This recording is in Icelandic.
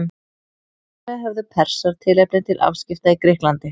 Þar með höfðu Persar tilefni til afskipta í Grikklandi.